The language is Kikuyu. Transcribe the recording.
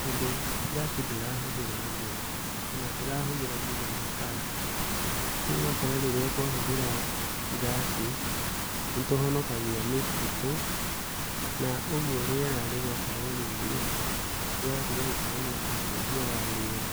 tondũ ngaci ndĩrahũthĩra ngũ kana ndĩrahũthĩra kinya makara. Rĩu ũgakora rĩrĩa twahũthĩra ngaci nĩtũhonokagia mĩtitũ na ũguo rĩera rĩgakorwo rĩ rĩega , gũgatiga gũkorwo na ũcenjia wa rĩera.